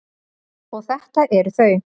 Og þetta eru þau.